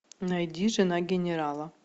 найди жена генерала